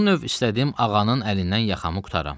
Bu növ istədim ağanın əlindən yaxamı qurtaram.